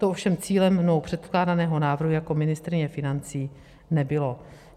To ovšem cílem mnou předkládaného návrhu jako ministryně financí nebylo.